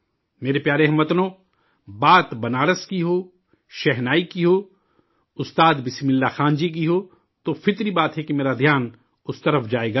میرے پیارے ہم وطنو، بات بنارس کی ہو، شہنائی کی ہو، استاد بسم اللہ خاں جی کی ہو تو ظاہر ہے کہ میرا ذہن اس طرف جائے گا ہی